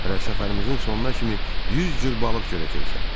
Hələ səfərimizin sonuna kimi 100 cür balıq görəcəksən.